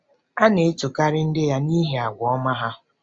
A na-etokarị ndị ya n'ihi àgwà ọma ha.